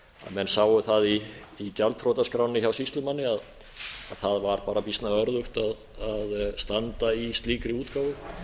náttúrlega einfaldlega það að menn sáu það í gjaldþrotaskránni hjá sýslumanni að það var bara býsna örðugt að standa í slíkri útgáfu